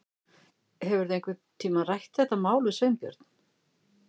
Hefurðu einhvern tíma rætt þetta mál við Sveinbjörn?